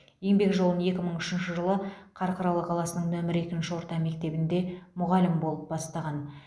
еңбек жолын екі мың үшінші жылы қарқаралы қаласының нөмірі екінші орта мектебінде мұғалім болып бастаған